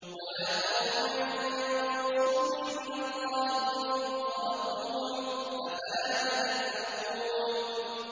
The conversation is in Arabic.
وَيَا قَوْمِ مَن يَنصُرُنِي مِنَ اللَّهِ إِن طَرَدتُّهُمْ ۚ أَفَلَا تَذَكَّرُونَ